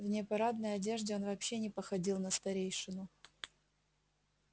в непарадной одежде он вообще не походил на старейшину